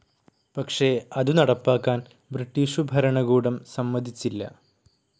പക്ഷെ അതു നടപ്പാക്കാൻ ബ്രിട്ടീഷു ഭരണകൂടം സമ്മതിച്ചില്ല.